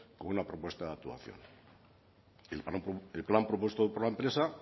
con una propuesta de actuación el plan propuesto por la empresa